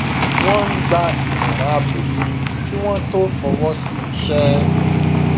wọn ń gba ìmọràn abófin kí wọn tó fọwọ sí iṣẹ